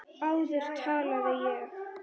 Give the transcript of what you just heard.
Áður talaði ég.